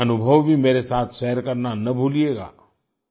अपने अनुभव भी मेरे साथ शेयर करना न भूलियेगा